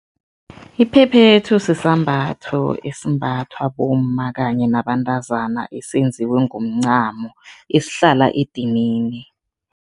Iphephethu sisambatho esimbathwa bomma kanye nabantazana esenziwe ngomncamo, esihlala edinini.